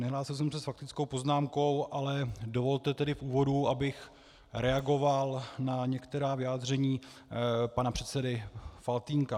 Nehlásil jsem se s faktickou poznámkou, ale dovolte tedy v úvodu, abych reagoval na některá vyjádření pana předsedy Faltýnka.